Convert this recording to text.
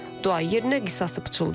Dua yerinə qisası pıçıldayıb.